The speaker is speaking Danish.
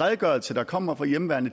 redegørelse der kommer fra hjemmeværnet